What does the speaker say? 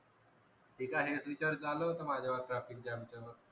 हे का हेच विचार चालू होत माझ्यावर traffic jam च्या वर